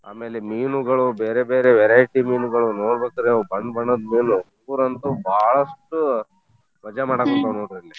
ಆಮೇಲೆ ಮೀನುಗಳು ಬೇರೇ ಬೇರೇ variety ಮೀನುಗಳು ನೋಡ್ಬೇಕ್ ರೀ ಅವು ಬಣ್ಣ ಬಣ್ಣದ ಮೀನವು ಅಂತೂ ಬಾಳಷ್ಟು ಮಜಾ ಮಾಡಾಕುಂತಾವ್ ನೋಡ್ರಲ್ಲೇ .